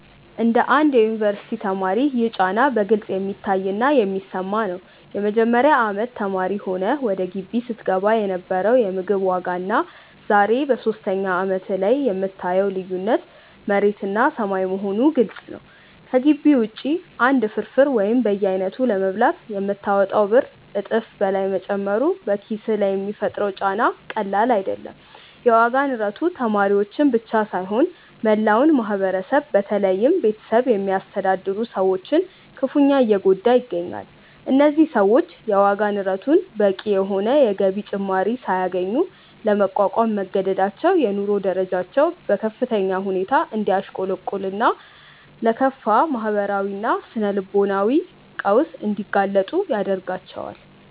እንደ አንድ የዩኒቨርሲቲ ተማሪ ይህ ጫና በግልጽ የሚታይና የሚሰማ ነው። የመጀመሪያ አመት ተማሪ ሆነህ ወደ ግቢ ስትገባ የነበረው የምግብ ዋጋና ዛሬ በሶስተኛ አመትህ ላይ የምታየው ልዩነት መሬትና ሰማይ መሆኑ ግልጽ ነው። ከግቢ ውጪ አንድ ፍርፍር ወይም በየአይነቱ ለመብላት የምታወጣው ብር እጥፍ በላይ መጨመሩ በኪስህ ላይ የሚፈጥረው ጫና ቀላል አይደለም። የዋጋ ንረቱ ተማሪዎችን ብቻ ሳይሆን መላውን ማህበረሰብ በተለይም ቤተሰብ የሚያስተዳድሩ ሰዎችን ክፉኛ እየጎዳ ይገኛል። እነዚህ ሰዎች የዋጋ ንረቱን በቂ የሆነ የገቢ ጭማሪ ሳያገኙ ለመቋቋም መገደዳቸው የኑሮ ደረጃቸው በከፍተኛ ሁኔታ እንዲያሽቆለቁልና ለከፋ ማህበራዊና ስነ-ልቦናዊ ቀውስ እንዲጋለጡ ያደርጋቸዋል።